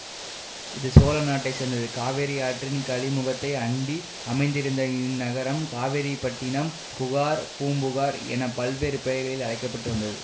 இது சோழ நாட்டை சேர்ந்தது காவிரி ஆற்றின் கழிமுகத்தை அண்டி அமைந்திருந்த இந் நகரம் காவேரிப் பட்டினம் புகார் பூம்புகார் என பல்வேறு பெயர்களில் அழைக்க பட்டு வந்தது